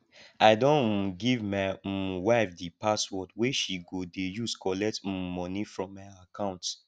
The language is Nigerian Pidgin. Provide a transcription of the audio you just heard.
i don um give my um wife di password wey she go dey use collect um moni from my account